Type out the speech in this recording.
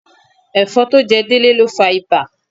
Ẹ̀fọn tó jẹ Délé ló fa ibà.